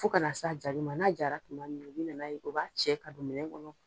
Fo ka na s'a jaali ma n'a jara tuma min na o b'a cɛ ka don minɛ kɔnɔ.